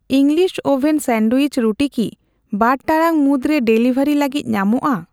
English oven sandwich ᱨᱩᱴᱤ ᱠᱤ ᱵᱟᱨ ᱴᱟᱲᱟᱝ ᱢᱩᱫᱨᱮ ᱰᱮᱞᱤᱵᱷᱟᱨᱤ ᱞᱟᱹᱜᱤᱫ ᱧᱟᱢᱚᱜᱼᱟ ?